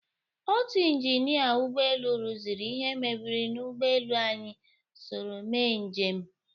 Otu injinịa ụgbọelu rụziri ihe mebiri n'ugbọelu anyị soro mee njem.